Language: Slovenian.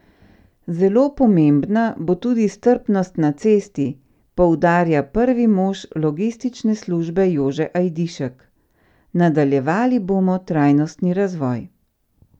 Zelo pomembna bo tudi strpnost na cesti, poudarja prvi mož logistične službe Jože Ajdišek: 'Nadaljevali bomo trajnostni razvoj.